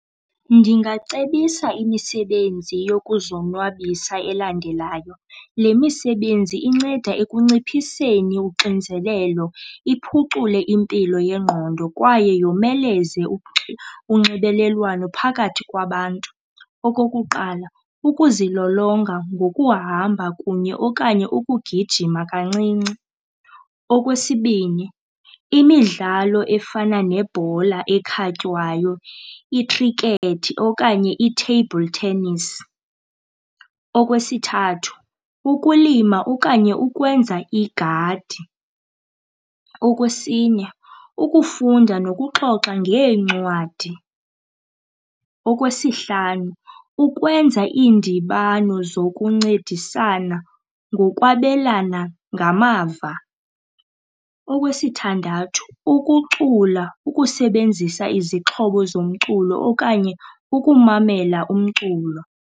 Ndingacebisa imisebenzi yokuzonwabisa elandelayo, le misebenzi inceda ekunciphiseni uxinzelelo, iphucule impilo yengqondo kwaye yomeleze unxibelelwano phakathi kwabantu. Okokuqala, ukuzilolonga ngokuhamba kunye okanye ukugijima kancinci. Okwesibini, imidlalo efana nebhola ekhatywayo, ikhrikethi okanye i-table tennis. Okwesithathu, ukulima okanye ukwenza igadi. Okwesine, ukufunda nokuxoxa ngeencwadi. Okwesihlanu, ukwenza iindibano zokuncedisana ngokwabelana ngamava. Okwesithandathu, ukucula, ukusebenzisa izixhobo zomculo okanye ukumamela umculo.